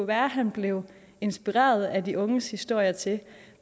være at han blev inspireret af de unges historier til